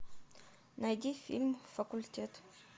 найди фильм факультет